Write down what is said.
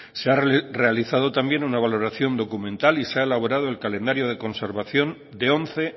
se ha realizado también una valoración documental y se ha elaborado el calendario de conservación de once